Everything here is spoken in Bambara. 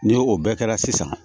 Ni o bɛɛ kɛra sisan